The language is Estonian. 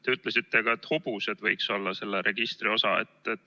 Te ütlesite, et ka hobused võiks olla selle registri osa.